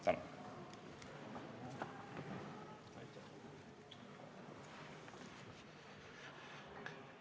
Tänan!